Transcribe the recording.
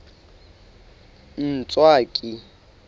ntswaki